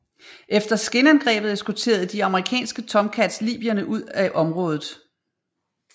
Efter skinangrebet eskorterede de amerikanske Tomcats libyerne ud af området